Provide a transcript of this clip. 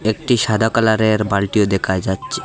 একটি সাদা কালারের বালটিও দেখা যাচ্ছে।